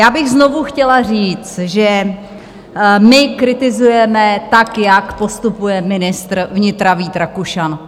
Já bych znovu chtěla říct, že my kritizujeme to, jak postupuje ministr vnitra Vít Rakušan.